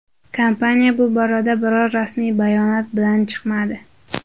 Kompaniya bu borada biror rasmiy bayonot bilan chiqmadi.